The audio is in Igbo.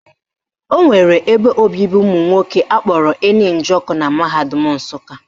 Enwere ebe obibi ụmụnwoke akpọrọ Eni Njoku na mahadum Nsụka